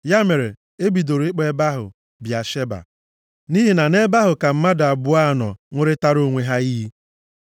Ya mere, e bidoro ịkpọ ebe ahụ Bịasheba, nʼihi na nʼebe ahụ ka mmadụ abụọ a nọ ṅụrịtaara onwe ha iyi.